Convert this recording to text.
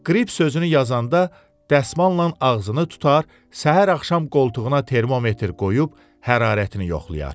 Qrip sözünü yazanda dəsmalnan ağzını tutar, səhər axşam qoltuğuna termometr qoyub hərarətini yoxlayar.